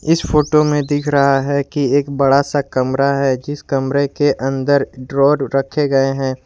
Photo में दिख रहा है इस कि एक बड़ा सा कमरा है जिस कमरे के अंदर ड्रोन रखे गए हैं।